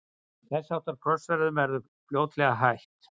þess háttar krossferðum var þó fljótlega hætt